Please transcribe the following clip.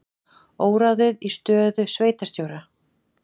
Óráðið í stöðu sveitarstjóra